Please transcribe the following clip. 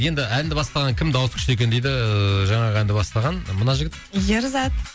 енді әнді бастаған кім дауысы күшті екен дейді жаңағы әнді бастаған мына жігіт ерзат